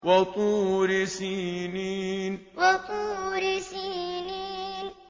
وَطُورِ سِينِينَ وَطُورِ سِينِينَ